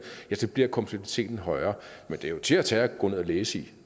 så bliver kompleksiteten højere men det er jo til at til at gå ned og læse